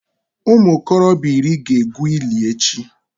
Ụmụ okorobịa iri ga-egwu ili echi